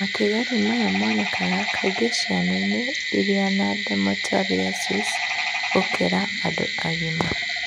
matigari maya monekaga kaingĩ ciana-inĩ irĩ na dermatomyositis gũkĩra andũ agima.